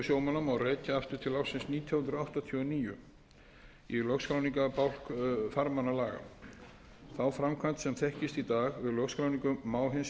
sjómanna má rekja aftur til ársins nítján hundruð áttatíu og níu í lögskráningarbálk farmannalaga þá framkvæmd sem þekkist í dag við lögskráningu má hins vegar rekja til laga um lögskráningu